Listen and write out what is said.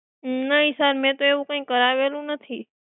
નહીં sir મે તો એવું કઈ કારવેલું નથી.